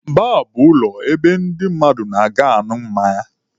Baar bụ ụlọ ebe ndị mmadụ na-aga añụ mmanya.